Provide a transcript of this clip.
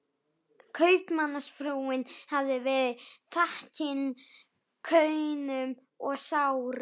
Kaupmannsfrúin hafði verið þakin kaunum og sárum